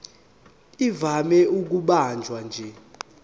ivame ukubanjwa nje